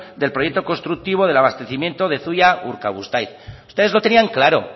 del proyecto constructivo del abastecimiento de zuia urkabustaiz ustedes lo tenían claro